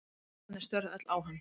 Krakkarnir störðu öll á hann.